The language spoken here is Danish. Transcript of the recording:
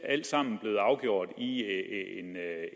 alt sammen blevet afgjort i